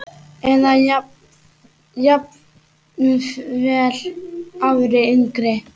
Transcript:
Eða jafnvel ári yngri.